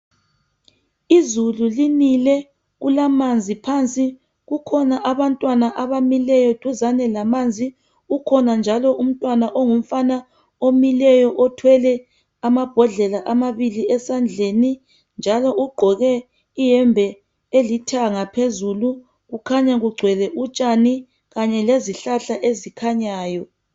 Izulu linile kulamanzi phansi kukhona abantwana abamileyo duzene lamanzi kukhona njalo umntwana ongumfana omileyo othwele amabhodlela amabili esandleni njalo ugqoke ihembe elithanga phezulu kukhanya kugcwele utshani kanye lezihlahla ezikhanyayo.